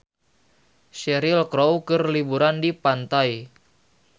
Cheryl Crow keur liburan di pantai